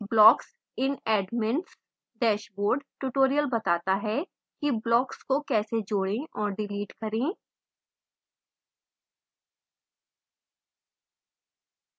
blocks in admin s dashboard tutorial बताता है किblocks को कैसे जोड़े और डिलीट करें